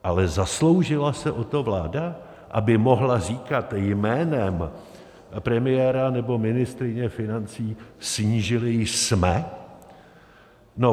Ale zasloužila se o to vláda, aby mohla říkat jménem premiéra nebo ministryně financí "snížili jsme"?